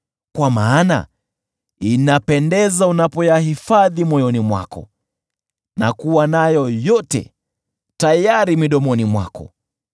kwa maana inapendeza unapoyahifadhi moyoni mwako na kuwa nayo yote tayari midomoni mwako.